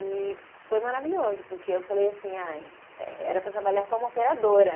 E foi maravilhoso, porque eu falei assim, ai eh, era para trabalhar como operadora.